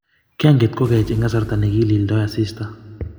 Kianget kokaech eng kasarta nekilildoi asista